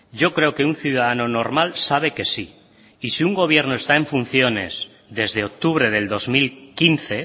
yo creo que un ciudadano normal sabe que sí y si un gobierno está en funciones desde octubre del dos mil quince